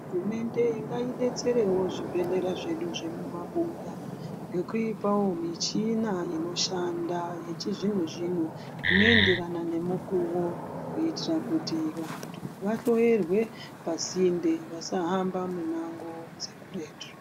Hurumende ngaibetserevo zvibhedhlera zvedu zvemuma buya, ngekuipavo michina inoshanda yechizvino-zvino inoenderana nemukuvo. Kuitira kuti vantu vahloyerwe asinde vasahamba mumango dzekureti.